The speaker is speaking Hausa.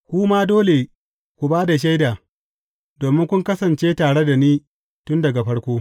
Ku ma dole ku ba da shaida, domin kun kasance tare da ni tun daga farko.